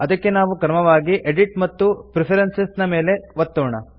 ಅದಕ್ಕೆ ನಾವು ಕ್ರಮವಾಗಿ ಎಡಿಟ್ ಮತ್ತು ಪ್ರೆಫರೆನ್ಸಸ್ ನ ಮೇಲೆ ಒತ್ತೋಣ